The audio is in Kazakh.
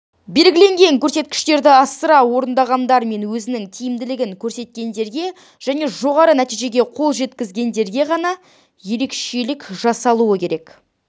белгіленген көрсеткіштерді асыра орындағандар мен өзінің тиімділігін көрсеткендерге және жоғары нәтижеге қол жеткізгендерге ғана ерекшелік жасалуы керек